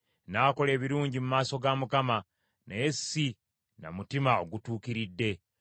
N’akola ebirungi mu maaso ga Mukama , naye si na mutima ogutuukiridde.